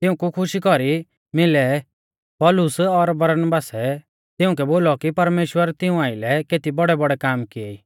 तिऊंकु खुशी कौरी मिलै पौलुस और बरनाबासै तिउंकै बोलौ कि परमेश्‍वरै तिऊं आइलै केती बौड़ैबौड़ै काम किऐ ई